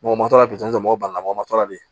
Mɔgɔ ma tora pizɔn mɔgɔw ban na mɔgɔw ma tora de